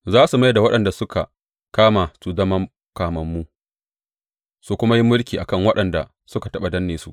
Za su mai da waɗanda suka kama su su zama kamammu su kuma yi mulki a kan waɗanda suka taɓa danne su.